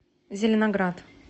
зеленоград